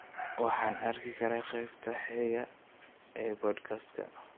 Waxaan arki karaa qaybta xigta ee podcast-ka